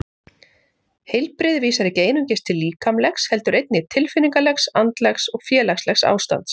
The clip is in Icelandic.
Heilbrigði vísar ekki einungis til líkamlegs heldur einnig tilfinningalegs, andlegs og félagslegs ástands.